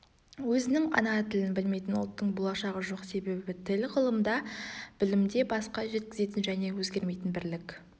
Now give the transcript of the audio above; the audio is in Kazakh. өзінің ана тілін білмейтін ұлттың болашағы жоқ себебі тіл ғылымда білімде басқа жеткізетін және өзгермейтін бірлік